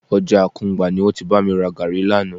Ọjà Àkùngbá ni wọ́n ti bá mi ra gàárì lánàá